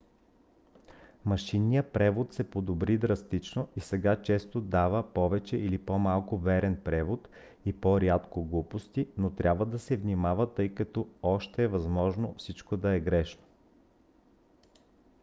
машинният превод се подобри драстично и сега често дава повече или по-малко верен превод и по-рядко глупости но трябва да се внимава тъй като още е възможно всичко да е грешно